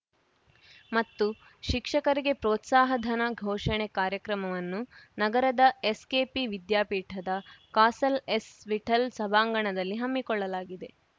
ಮತ್ತು ಶಿಕ್ಷಕರಿಗೆ ಪ್ರೋತ್ಸಾಹಧನ ಘೋಷಣೆ ಕಾರ್ಯಕ್ರಮವನ್ನು ನಗರದ ಎಸ್‌ಕೆಪಿ ವಿದ್ಯಾಪೀಠದ ಕಾಸಲ್‌ ಎಸ್‌ವಿಠಲ್‌ ಸಭಾಂಗಣದಲ್ಲಿ ಹಮ್ಮಿಕೊಳ್ಳಲಾಗಿದೆ